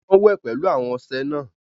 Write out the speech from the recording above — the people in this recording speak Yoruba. Awọn wẹ pẹlu awọn ọṣẹ náà